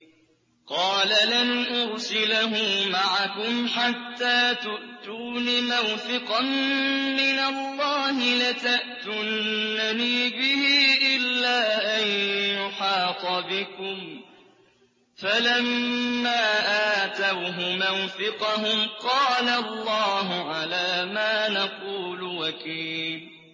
قَالَ لَنْ أُرْسِلَهُ مَعَكُمْ حَتَّىٰ تُؤْتُونِ مَوْثِقًا مِّنَ اللَّهِ لَتَأْتُنَّنِي بِهِ إِلَّا أَن يُحَاطَ بِكُمْ ۖ فَلَمَّا آتَوْهُ مَوْثِقَهُمْ قَالَ اللَّهُ عَلَىٰ مَا نَقُولُ وَكِيلٌ